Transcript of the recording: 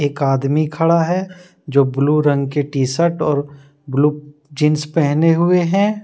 एक आदमी खड़ा है जो ब्लू रंग की टी शर्ट और ब्लू जींस पहने हुए हैं।